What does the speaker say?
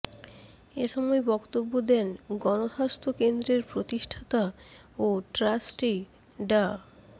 এ সময় বক্তব্য দেন গণস্বাস্থ্য কেন্দ্রের প্রতিষ্ঠাতা ও ট্রাস্টি ডা